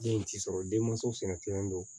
Den in ti sɔrɔ denmansaw fɛnɛ tiɲɛlen don